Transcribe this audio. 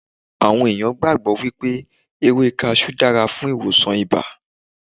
Awon ẹ̀yàn gbàgbọ́ wípé ewé Kaṣú dára fún ìwòsàn ibà.